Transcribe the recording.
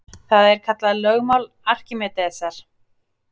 Það er kallað lögmál Arkímedesar.